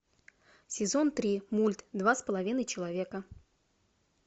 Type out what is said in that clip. сезон три мульт два с половиной человека